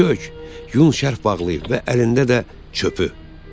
Kök, yun şərq bağlıyıb və əlində də çöpü.